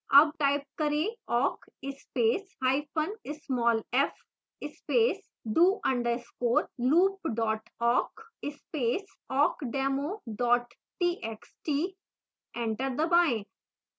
awk type करें: awk space hyphen small f space do underscore loop dot awk space awkdemo dot txt